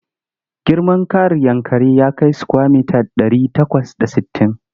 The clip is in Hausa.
Girman ƙaaar Yankari ya kai sukwaya mita ɗari takwas da sittin.